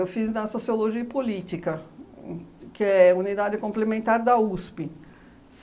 Eu fiz na Sociologia e Política, uhn que é unidade complementar da USP.